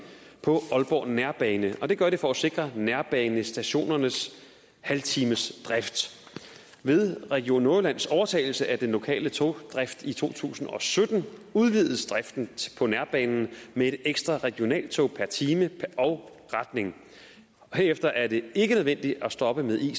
på aalborg nærbane og det gør de for at sikre nærbanestationernes halvtimesdrift ved region nordjyllands overtagelse af den lokale togdrift i to tusind og sytten udvides driften på nærbanen med et ekstra regionaltog per time og retning herefter er det ikke nødvendigt at stoppe med ic